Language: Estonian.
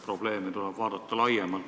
Probleeme tuleb vaadata laiemalt.